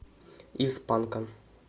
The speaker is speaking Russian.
из панка